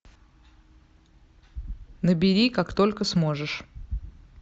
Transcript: набери как только сможешь